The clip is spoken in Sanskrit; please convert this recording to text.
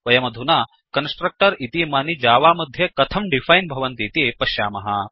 वयमधुना कन्स्ट्रक्टर् इतीमानि जावा मध्ये कथं डिफैन् भवन्तीति पश्यामः